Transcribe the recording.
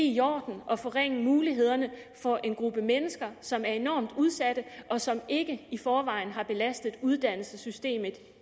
i orden at forringe mulighederne for en gruppe mennesker som er enormt udsatte og som ikke i forvejen har belastet uddannelsessystemet